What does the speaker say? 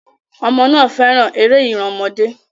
Ọmọ náà fẹ́ràn eré ìran ọmọdé.